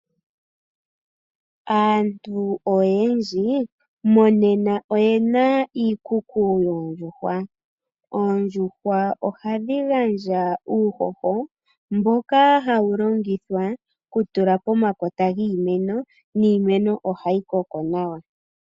Aantu oyendji monena oye na iikuku yoondjuhwa. Oondjuhwa ohadhi gandja uuhoho mboka hawu longithwa okutula pomakota giimeno, niimeno ohayi koko nawa.